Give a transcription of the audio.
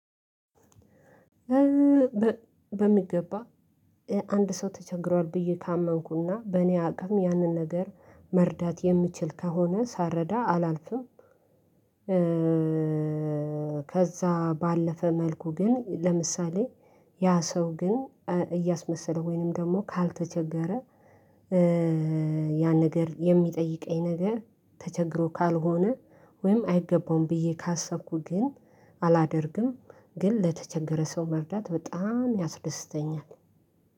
በሚገባ አንድ ሰው ተቸግሯል ብዬ ካመንኩና በእኔ አቅም ያንን ነገር መርዳት የምችል ከሆነ ሳልረዳ አላልፍም። ከዛ ባለፈ መልኩ ግን ለምሳሌ ያ ሰው ግን እያስመሰለ ወይንም ደግሞ ካልተቸገረ ያን ነገር የሚጠይቀኝ ነገር ተቸግሮ ካልሆነ ወይም አይገባውም ብዬ ካሰብኩ ግን አላደርግም፣ ግን ለተቸገረ ሰው መርዳት በጣም ያስደስተኛል።